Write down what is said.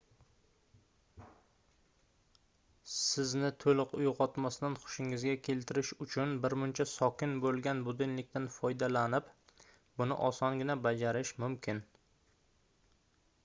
sizni toʻliq uygʻotmasdan xushingizga keltirish uchun birmuncha sokin boʻlgan budilnikdan foydalanib buni osongina bajarish mumkin